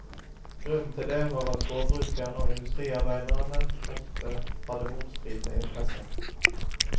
Grunnen til det var at gårdbrukerne og industriarbeiderne ofte hadde motstridene interesser.